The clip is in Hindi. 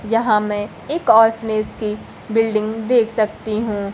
यहा मैं एक ऑर्फेनेज की बिल्डिंग देख सकती हूं।